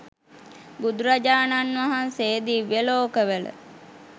බුදුරජාණන් වහන්සේ දිව්‍ය ලෝකවල